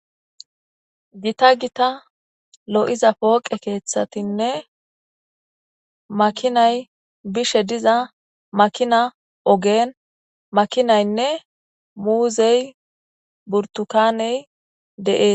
Gita gita lo'iza pooqe keeththatinne makinay bishe diza makina ogeen makinaynne muuzey burtukaney de'ee.